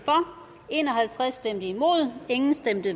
en og halvtreds